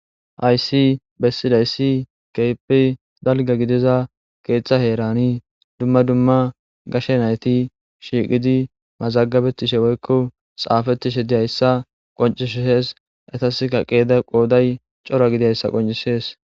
Hayisi bessidaysi keepi dalga gidiza keeththa heerani dumma dumma gashe nayti shiiqidi mazagabetishe woyiko xaafetishe diyayssa qoncishsees etaska qeeda qooday coora gidiayssa qoncisees